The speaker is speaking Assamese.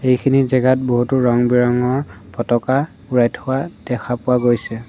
এইখিনি জেগাত বহুতো ৰং বিৰংঙৰ ফটকা উৰাই থোৱা দেখা পোৱা গৈছে।